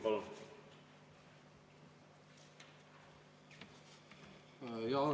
Palun!